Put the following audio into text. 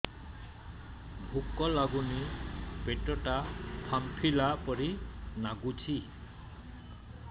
ଭୁକ ଲାଗୁନି ପେଟ ଟା ଫାମ୍ପିଲା ପରି ନାଗୁଚି